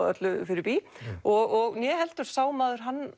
öllu fyrir bý og né heldur sá maður hann